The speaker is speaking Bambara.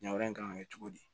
Ɲanga in kan ka kɛ cogo di